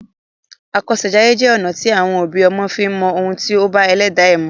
Àkọsèjayé jẹ́ ọ̀nà à ti àwọn òbí ọmọ fi ń mọ ohun tí ó bá ẹlẹ́dàá ẹ mu.